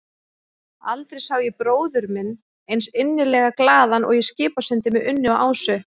Aldrei sá ég bróður minn eins innilega glaðan og í Skipasundi með Unni og Ásu.